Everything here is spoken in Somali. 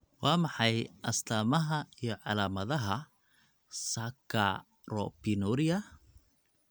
Waa maxay astamaha iyo calaamadaha Saccharopinuria?